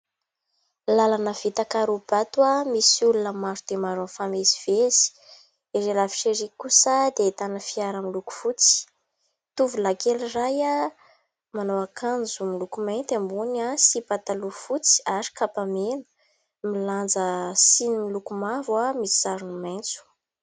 Làlana vita karaobato, misy olona maro dia maro mifamezivezy. Ivelany fefy ery kosa dia ahitana fiara, miloko fotsy. Tovolahy kely iray, manao akanjo miloko mainty ambony sy pataloha fotsy ary kapa mena ; milanja siny miloko mavo misy sarony maintso.